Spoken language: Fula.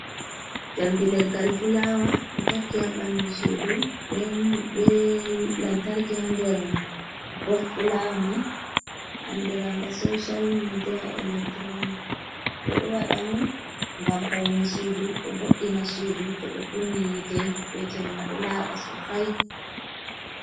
Jamdi leggal fulawa do takki ha ɓandu sudu ben be lantarkia nder ɓo fulamai andiraga social media electronic be ɗo wada on ngam paune sudu ɗo voɗɗina sudu to ɓe kunni yite be jemma ɗo laba sosai.